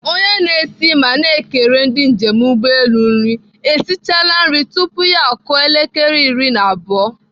Onye na-esi ma na-ekere ndị njem ụgbọelu nri esichala nri tupu ya akụọ elekere nke iri na abụọ.